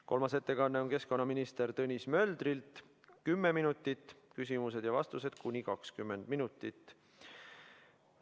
Kolmas ettekanne on keskkonnaminister Tõnis Möldrilt, 10 minutit, küsimused ja vastused kuni 20 minutit.